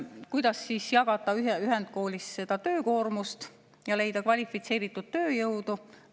Kuidas jagada ühendkoolis töökoormust ja leida kvalifitseeritud tööjõudu?